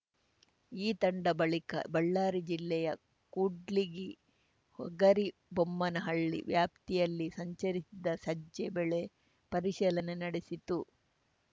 ಈ ತಂಡ ಬಳಿಕ ಬಳ್ಳಾರಿ ಜಿಲ್ಲೆಯ ಕೂಡ್ಲಿಗಿ ಹಗರಿಬೊಮ್ಮನಹಳ್ಳಿ ವ್ಯಾಪ್ತಿಯಲ್ಲಿ ಸಂಚರಿಸಿದ ಸಜ್ಜೆ ಬೆಳೆ ಪರಿಶೀಲನೆ ನಡೆಸಿತು